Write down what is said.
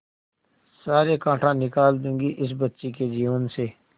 सारे कांटा निकाल दूंगी इस बच्ची के जीवन से